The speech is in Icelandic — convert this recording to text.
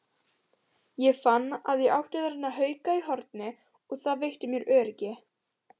Ég fann að ég átti þarna hauka í horni og það veitti mér öryggi.